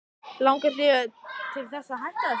Langar þig til þess að hætta þessu?